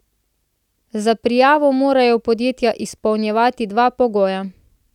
Za prijavo morajo podjetja izpolnjevati dva pogoja.